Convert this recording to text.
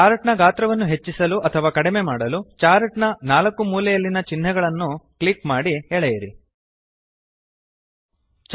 chart ನ ಗಾತ್ರ ವನ್ನು ಹೆಚ್ಚಿಸಲು ಅಥವಾ ಕಮ್ಮಿ ಮಾಡಲು ಚಾರ್ಟ್ ನ 4 ಮೂಲೆಯಲ್ಲಿನ ಚಿನ್ಹೆಗಳನ್ನು ಕ್ಲಿಕ್ ಮಾಡಿ ಎಳೆದು ಡ್ರ್ಯಾಗ್ ಮಾಡಿ